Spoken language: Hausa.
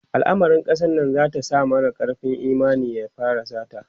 alamarin kasar Nan zata sa mara karfin Imani ya fara sata